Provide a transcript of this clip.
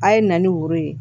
A' ye na ni woro ye